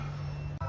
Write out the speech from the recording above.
Belə işdir.